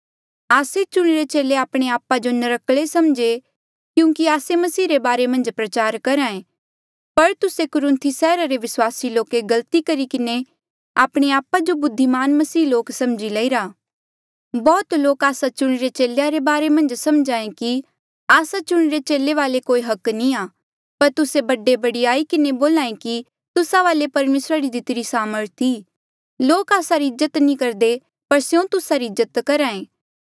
आस्से चुणिरे चेले आपणे आप जो नर्क्कले समझे क्यूंकि आस्से मसीह रे बारे मन्झ प्रचार करहे पर तुस्से कुरुन्थी सैहरा रे विस्वासी लोके गलती किन्हें आपणे आपा जो बुद्धिमान मसीह लोक समझी लईरा बहुत लोक आस्सा चुणिरे चेलेया रे बारे मन्झ समझे कि आस्सा चुणिरे चेले वाले कोई हक नी आ पर तुस्से बड़े बडयाई किन्हें बोले कि तुस्सा वाले परमेसरा री दितिरी सामर्थ ई लोक आस्सा री इज्जत नी करदे पर स्यों तुस्सा री इज्जत करहे